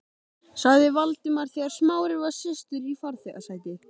sagði Valdimar þegar Smári var sestur í farþegasætið.